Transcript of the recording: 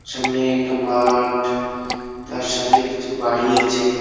সামনে একটা মাআআঠ তার সাথে কিছু বাড়ি আছে।